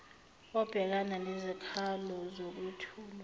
obhekana nezikhalo zokwethulwa